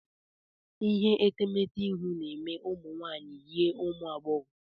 Ihe etemeete ihu na-eme ụmụ nwaanyị yie ụmụ agbọghọ.